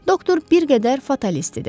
Doktor bir qədər fatalist idi.